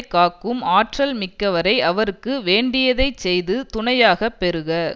காக்கும் ஆற்றல் மிக்கவரை அவருக்கு வேண்டியதை செய்து துணையாக பெறுக